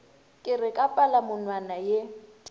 ke re ka palamonwana ye